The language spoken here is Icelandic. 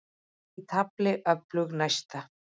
Er í tafli öflug næsta.